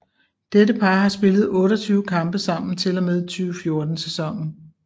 Dette par har spillet 28 kampe sammen til og med 2014 sæsonen